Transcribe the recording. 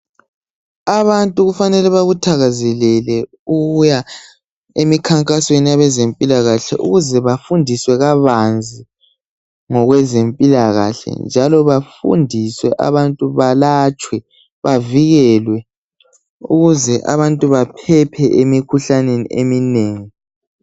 Abantu kufanele bakuthakazelele ukuya emikhankasweni yabezempilakahle ukuze bafundiswe kabanzi ngokwezempilakahle njalo bafundiswe, abantu balatshwe bavikelwe ukuze abantu baphephe emikhuhlaneni eminengi.